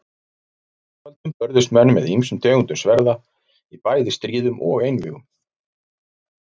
Fyrr á öldum börðust menn með ýmsum tegundum sverða í bæði stríðum og einvígum.